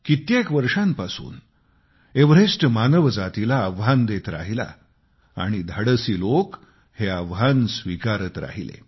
कित्येक वर्षांपासून एव्हरेस्ट मानवजातीला आव्हान देत राहिला आणि धाडसी लोक हे आव्हान स्वीकारत राहिले